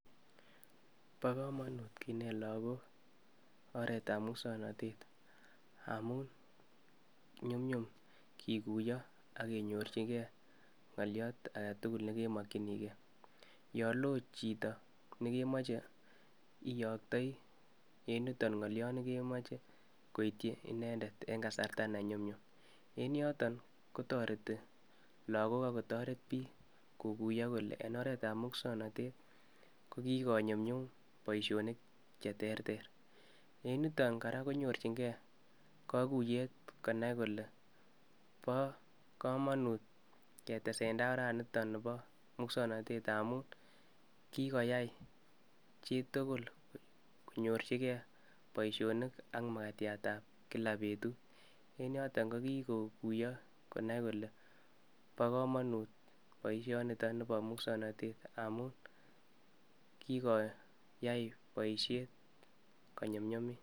Bo komonut kinet lakgok oret ab muksonotet amu nyumnyum kiguiyo agenyorchigei ngoliot agetugul ne kemokyinigei yo loo chito nekemoche iyoktai eng yutok ngoliot ne kemoche agoityi inendet eng kasarta ne nyumnyum eng yotok kotoreti lagok agotoret biik koguiyo kole eng oret ab muksonotet kokigo nyumnyum boisyonik che ter ter. Eng yutok kora konyorchingei kaguiyet konai kole bokomonut ketesetai oranitonibo muksonotet amu kigoyai chitugul konyorchigei boisyonik ak magatiat ab kila betut en yotok kogikoguiyo konai kole bokomonut boisyonitonibo muksonotet amu kigoyai boisyet konyumnyumit.